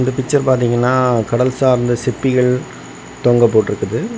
Picture பாத்திங்கனா கடல் சார்ந்த சிற்பிகள் தொங்க போட்டுருக்குது.